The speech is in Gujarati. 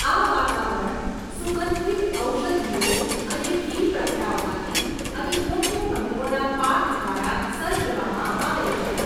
આ વાતાવરણ સુગંધિત ઔષધિઓ અને ઘી પ્રગટાવવાથી અને યોગ્ય મંત્રોના પાઠ દ્વારા સર્જવામાં આવે છે.